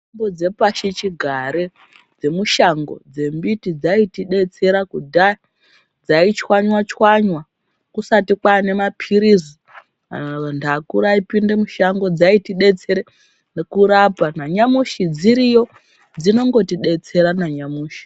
Mutombo dzepasichigare dzemiti dzemushango ,dzembiti dziaitidetsera kudhaya. Dzaichwanywa chwanywa kusati kwanemapirizi zantu akuru aipinde mushango. Dzaitidetsere kurapa .Nanyamushi dziriyo dzinongotidetsera nanyamushi.